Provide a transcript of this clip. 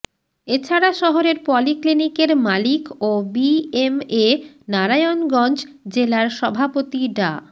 এছাড়া শহরের পলি ক্লিনিকের মালিক ও বিএমএ নারায়ণগঞ্জ জেলার সভাপতি ডা